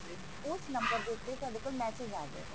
ਉਸ ਨੰਬਰ ਦੇ ਉੱਤੇ ਤੁਹਾਡੇ ਕੋਲ message ਆ ਜਾਏਗਾ